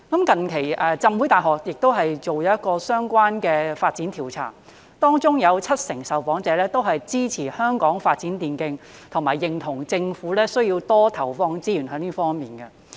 近期香港浸會大學亦做了一項相關的發展調查，當中有七成受訪者支持香港發展電競，以及認同政府需要在這方面多投放資源。